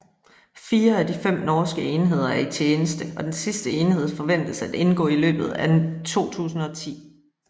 Fire af de fem norske enheder er i tjeneste og den sidste enhed forventes at indgå i løbet af 2010